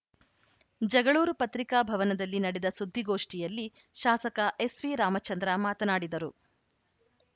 ಜಗಳೂರು ಪತ್ರಿಕಾ ಭವನದಲ್ಲಿ ನಡೆದ ಸುದ್ದಿಗೋಷ್ಠಿಯಲ್ಲಿ ಶಾಸಕ ಎಸ್‌ವಿರಾಮಚಂದ್ರ ಮಾತನಾಡಿದರು